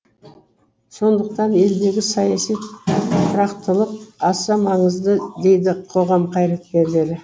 сондықтан елдегі саяси тұрақтылық аса маңызды дейді қоғам қайраткерлері